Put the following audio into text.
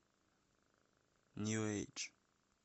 нью эйдж